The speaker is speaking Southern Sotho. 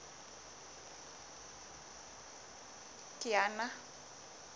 kiana